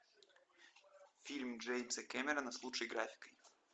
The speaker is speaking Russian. фильм джеймса кемерона с лучшей графикой